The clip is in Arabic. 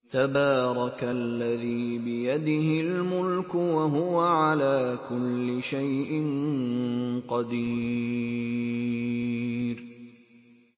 تَبَارَكَ الَّذِي بِيَدِهِ الْمُلْكُ وَهُوَ عَلَىٰ كُلِّ شَيْءٍ قَدِيرٌ